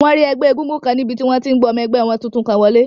Wọ́n rí ẹgbẹ́ égúngún kan níbi tí wọ́n ti n gba ọmọ ẹgbẹ́ wọn tuntun kan wọlé